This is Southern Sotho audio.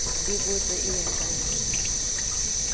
di botse e ya kae